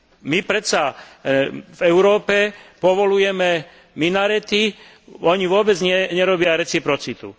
My predsa v Európe povoľujeme minarety, oni vôbec nerobia reciprocitu.